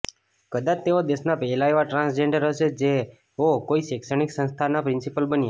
કદાચ તેઓ દેશના પહેલા એવા ટ્રાન્સજેન્ડર હશે જેઓ કોઈ શૈક્ષણિક સંસ્થાનના પ્રિન્સિપાલ બન્યાં